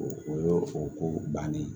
O o y'o o ko bannen ye